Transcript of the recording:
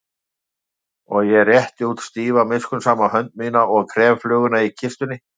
Og ég rétti út stífa miskunnsama hönd mína og krem fluguna í kistunni.